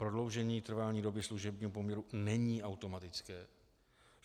Prodloužení trvání doby služebního poměru není automatické.